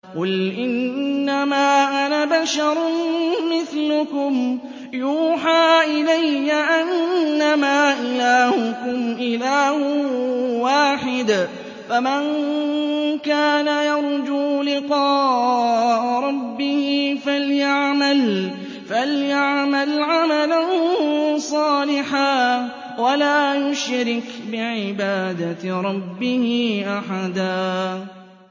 قُلْ إِنَّمَا أَنَا بَشَرٌ مِّثْلُكُمْ يُوحَىٰ إِلَيَّ أَنَّمَا إِلَٰهُكُمْ إِلَٰهٌ وَاحِدٌ ۖ فَمَن كَانَ يَرْجُو لِقَاءَ رَبِّهِ فَلْيَعْمَلْ عَمَلًا صَالِحًا وَلَا يُشْرِكْ بِعِبَادَةِ رَبِّهِ أَحَدًا